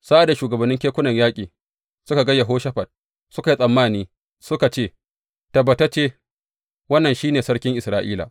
Sa’ad da shugabannin kekunan yaƙin suka ga Yehoshafat, suka yi tsammani, suka ce, Tabbatacce wannan shi ne sarkin Isra’ila.